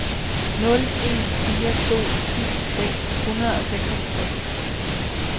nul en fire to ti seks hundrede og seksoghalvtreds